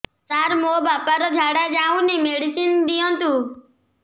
ସାର ମୋର ବାପା ର ଝାଡା ଯାଉନି ମେଡିସିନ ଦିଅନ୍ତୁ